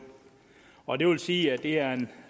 og det vil sige at det er en